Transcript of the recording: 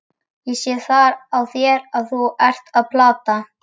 Ég sé það á þér að þú ert að plata!